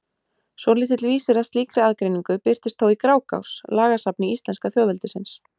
Svolítill vísir að slíkri aðgreiningu birtist þó í Grágás, lagasafni íslenska þjóðveldisins.